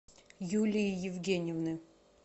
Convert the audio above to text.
юлии евгеньевны